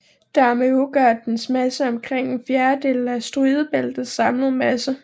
Dermed udgør dens masse omkring en fjerdedel af asteroidebæltets samlede masse